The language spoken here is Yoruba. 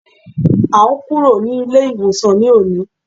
À n kúrò ní ilé ìwòsàn ní òní